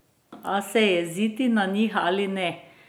A se jeziti na njih ali ne?